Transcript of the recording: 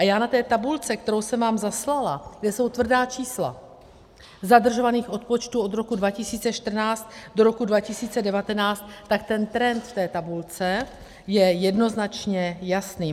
A já na té tabulce, kterou jsem vám zaslala, kde jsou tvrdá čísla zadržovaných odpočtů od roku 2014 do roku 2019, tak ten trend v té tabulce je jednoznačně jasný.